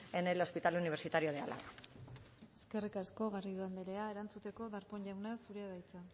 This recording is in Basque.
en el hospital universitario de álava eskerrik asko garrido anderea erantzuteko darpón jauna zurea da hitza